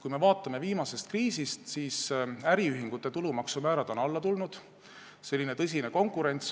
Kui me vaatame alates viimasest kriisist, siis äriühingute tulumaksumäärad on alla tulnud, on selline tõsine konkurents.